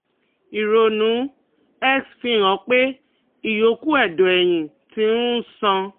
Ìrònú-X fi hàn pé ìyókù ẹ̀dọ̀ ẹ̀yìn ti um ń ṣàn